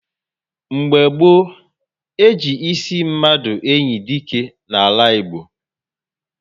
Mgbe gboo, e ji ịsị mmadụ enyi dike n'ala Igbo